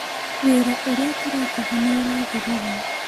Wĩra ũrĩa tũrekaga nĩ ũrathirire